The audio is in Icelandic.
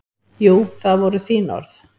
Jú, það voru þín orð.